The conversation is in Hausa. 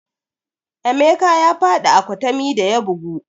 Emeka ya faɗi a kwatami da ya bugu